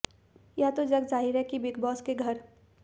यह तो जगजाहिर है कि बिग बॉस के घर